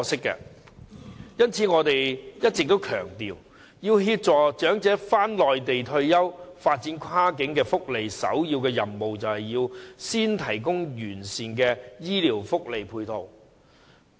因此，我一直強調，要協助長者返回內地退休，發展跨境福利的首要任務是先提供完善的醫療福利配套。